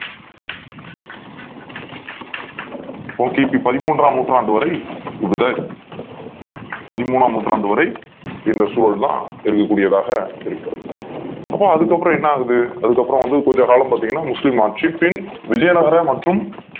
கி. பி பதிமூண்றாம் நூற்றாண்டு வரை பதிமூண்றாம் நூற்றாண் வரை இந்த சூழல்தான் இருக்கக் கூடியதாக இருக்கு அப்போ அதுக்கப் புறம் என்ன ஆகுது அதுக் கப்புறம் வந்து கொஞ்ச காலம் பாத்தீங்கன்னா முஸ்லிம் ஆட்சி பின் விஜயநாதர் மற்றும்